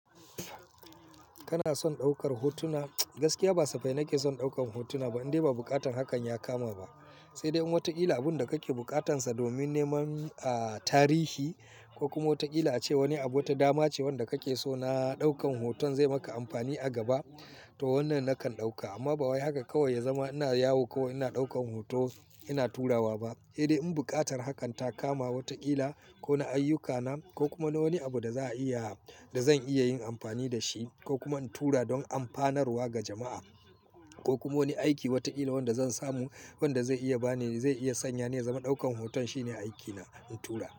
Kana son ɗaukar hotuna? Gaskiya ba safai nake son ɗaukar hotuna ba, indai ba buƙatar hakan ya kama ba. Sai dai in wataƙila abun da kake bukatarsa domin neman, ah, tarihi ko kuma wataƙila ace wani abu wata dama ce wanda kake so na ɗaukan hoton zai maka amfani a gaba, to wannan nakan ɗauka. Amma ba wai haka kawai ya zama ina yawo ko ina ɗaukan hoto ina turawa ba. Indai in buƙatar hakan ta kama wataƙila ko na ayyukana ko kuma na wani abu da za'a iya, da zan iya yin amfani da shi ko kuma in tura don amfanarwa ga jama'a ko kuma wani aiki wataƙila wanda zan samu wanda zai iya bani, zai iya sanya ni zama ɗaukan hoton shine aikina in tura.